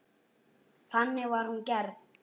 Þannig var hún gerð.